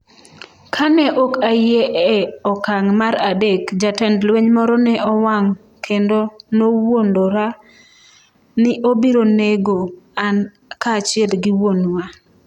Ka ne ok ayie e okang’ mar adek, jatend lweny moro ne owang’ kendo nowuondora ni obiro nego an kaachiel gi wuonwa.